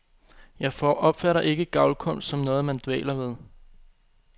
Jeg opfatter ikke gavlkunst som noget, man dvæler ved.